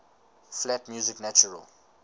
flat music natural